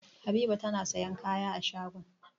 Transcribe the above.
Habiba tana sayan kaya a shagon.